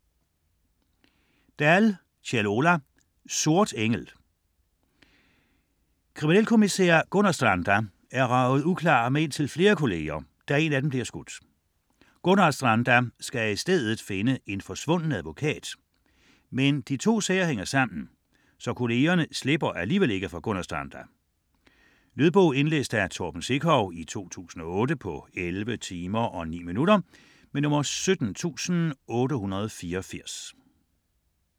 Dahl, Kjell Ola: Sort engel Kriminalkommissær Gunnarstranda er raget uklar med indtil flere kollegaer, da én af dem bliver skudt. Gunnarstranda skal i stedet finde en forsvunden advokat, men de to sager hænger sammen, så kollegaerne slipper alligevel ikke for Gunnarstranda. Lydbog 17884 Indlæst af Torben Sekov, 2008. Spilletid: 11 timer, 9 minutter.